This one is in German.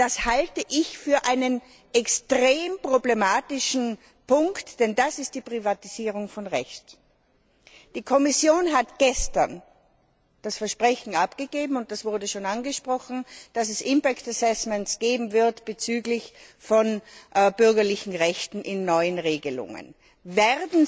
Das halte ich für einen extrem problematischen Punkt, denn das ist die Privatisierung von Recht. Die Kommission hat gestern das Versprechen abgegeben das wurde schon angesprochen dass es Folgenabschätzungen bezüglich der bürgerlichen Rechte in neuen Regelungen geben wird.